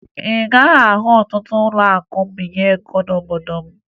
Ị gaghị ahụ ọtụtụ ụlọakụ mbinye ego n'obodo m